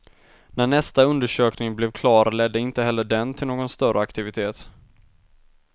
När nästa undersökning blev klar ledde inte heller den till någon större aktivitet.